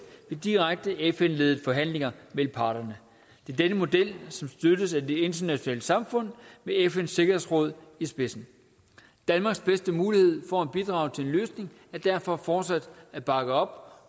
ved direkte fn ledede forhandlinger mellem parterne denne model støttes af det internationale samfund med fns sikkerhedsråd i spidsen danmarks bedste mulighed for at bidrage til en løsning er derfor fortsat at bakke op